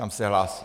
Tam se hlásí.